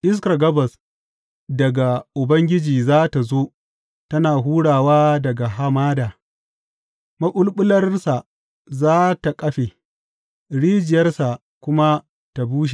Iskar gabas daga Ubangiji za tă zo, tana hurawa daga hamada; maɓulɓularsa za tă kafe rijiyarsa kuma ta bushe.